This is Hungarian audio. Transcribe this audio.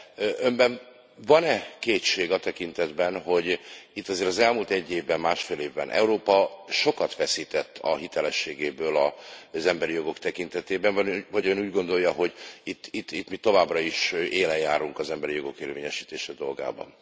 De Önben van e kétség a tekintetben, hogy itt azért az elmúlt egy évben, másfél évben Európa sokat veszített a hitelességéből az emberi jogok tekintetében, vagy Ön úgy gondolja, hogy itt mi továbbra is élen járunk az emberi jogok érvényesítése dolgában?